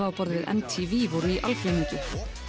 á borð við m t v voru í algleymingi